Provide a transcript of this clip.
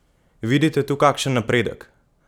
Vidite tu kakšen napredek?